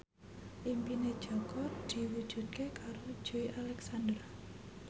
impine Jaka diwujudke karo Joey Alexander